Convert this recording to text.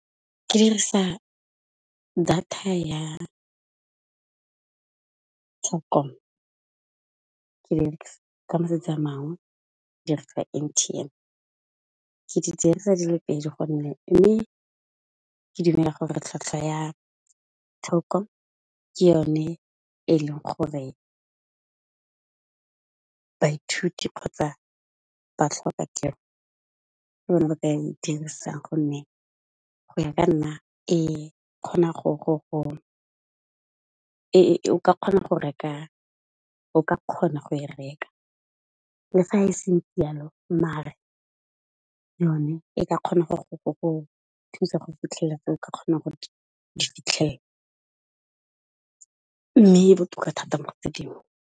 Ke 'irisa data ya Telkom, ka matsatsi a mang ke reka M_T_N. Ke di dirisa di le pedi gonne mme ke tlhatlhwa ya Telkom ke yone e leng gore baithuti kgotsa batlhokatiro ke yona e ba ka e dirisang gonne go ya ka nna o ka kgona go e reka. Le fa e se ntsi yalo mare yone e ka kgona go o thusa go fitlhella gore o ka kgona go di fitlhella, mme le go .